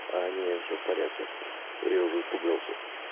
а не все в порядке а то я уже испугался